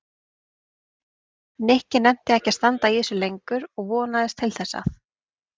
Nikki nennti ekki að standa í þessu lengur og vonaðist til þess að